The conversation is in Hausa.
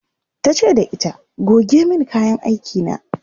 tace da ita "goge min kayan aiki na!"